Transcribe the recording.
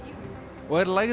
og er lægð